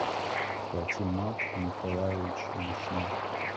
патимат николаевич вишняк